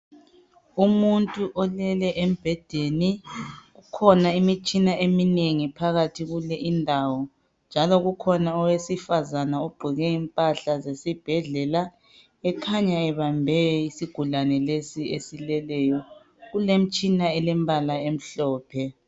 Umuntu olele embhedeni kukhona imitshina eminengi phakathi kule indawo .Njalo kukhona owesifazana ogqoke impahla zesibhedlela ekhanya ebambe isigulane lesi esileleyo . Kulemitshana elembala emhlophe.